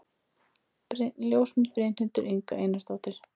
Ljósmynd: Brynhildur Inga Einarsdóttir